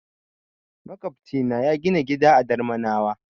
Maƙwofcina ya gina gida a Darmanawa.